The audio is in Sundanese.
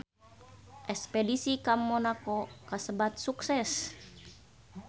Espedisi ka Monaco kasebat sukses